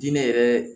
Diinɛ yɛrɛ